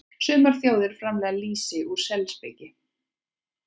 Sumar þjóðir framleiða lýsi úr selspiki.